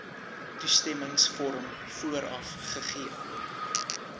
toestemmingsvorm vooraf gegee